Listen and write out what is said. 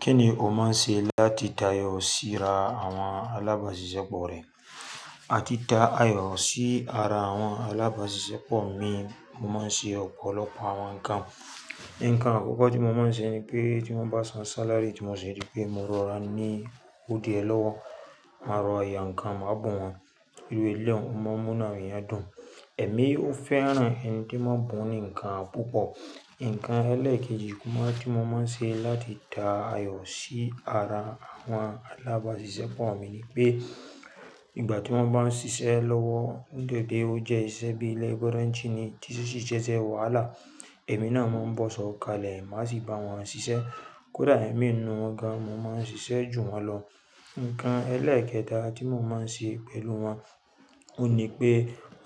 Kíni o máa ń ṣe láti tá ayọ̀ sí ra àwọn alábàáṣiṣẹ́ pọ̀ rẹ? A ti dá ayọ̀ sí ara àwọn alábáṣiṣẹ́ pọ̀ mi, mo máa ń ṣe ọ̀pọ̀lọpọ̀ àwọn nǹkan. Ǹkan àkọ́kọ́ tí mo máa ń ṣe ni pé tí wọ́n bá san sálárì tí mo ṣi ri pé mo rọra ní owó die lọ́wọ́, máa rọ̀ra yà nǹkan máa bun wọ́n. Iru ẹ̀leun, ó máa ń múnu àwọn èèyàn dùn, èmi ó fẹ́ran ẹni tí máa ń bùn ní nǹkan púpọ̀. Ǹkan ẹlẹ́ẹ̀kejì tí mo máa ń ṣe láti dá ayọ̀ sí ara àwọn alábáṣiṣẹ́pọ̀ mi ni pé ìgbà tí wọ́n bá ń ṣiṣẹ́ lọ́wọ́ gẹ́gẹ́ bí ó jẹ́ iṣẹ́ bí i labourer nìyí tí ṣíṣe ìṣe wahalá, èmi náà máa ń bọ̀sọ̀ kalẹ̀, má sì bá wọn ṣiṣẹ́. Kódà imi ninu wọ́n gan, mo máa ń ṣiṣẹ́ jù wọ́n lọ. Ǹkan ẹlẹ́ẹ̀kẹta tí mo máa ń ṣe pẹ̀lú wọn òun ní pé